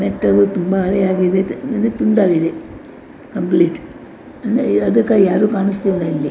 ತುಂಬಾ ಆಳೆ ಆಗಿವೆ ಅಂದ್ರ್ ತುಂಡಾಗಿದೆ ಕಂಪ್ಲೇಟ್ ಅದ್ರ್ ಯಾರು ಕಾಣಿಸ್ತಿಲ್ಲ ಇಲ್ಲಿ.